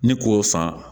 Ni k'o san